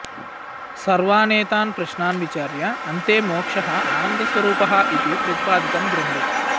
सर्वानेतान् प्रश्नान् विचार्य अन्ते मोक्षः आनन्दस्वरूपः इति प्रतिपादितं ग्रन्थे